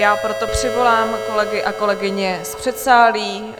Já proto přivolám kolegy a kolegyně z předsálí.